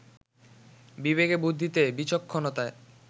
বিবেকে বুদ্ধিতে, বিচক্ষণতায়